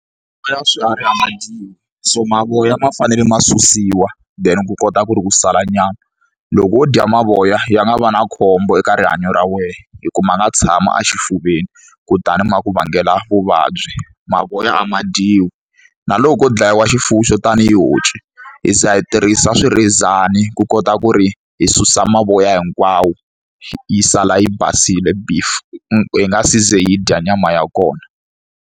Ya swiharhi a ma dyiwi so mavoya ma fanele ma susiwa then ku kota ku ri ku sala nyama loko wo dya mavoya ya nga va na khombo eka rihanyo ra wena hikuva a nga tshama a xifuveni kutani ma ku vangela vuvabyi mavoya a ma dyiwi na loko dlayiwa xifuwo xo tanihi honci hi za hi tirhisa swirhezani ku kota ku ri hi susa mavoya hinkwawo yi sala yi basile beef hi nga siza hi dya nyama ya kona